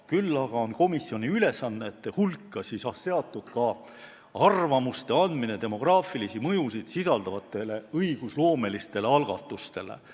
Küll aga on komisjoni ülesannete hulgas anda arvamusi demograafilisi mõjusid sisaldavate õigusloomeliste algatuste kohta.